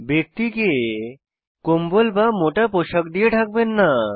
ব্যক্তিকে কম্বল বা মোটা পোশাক দিয়ে ঢাকবেন না